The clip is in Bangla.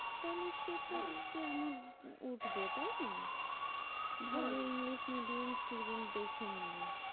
সেটা হ্যাঁ তে আমার উঠবে তাই না? হ্যাঁ ভালো ইংলিশ medium student দেখে নিলে।